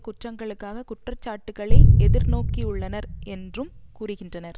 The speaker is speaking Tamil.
குற்றங்களுக்காக குற்ற சாட்டுக்களை எதிர்நோக்கியுள்ளனர் என்றும் கூறுகின்றனர்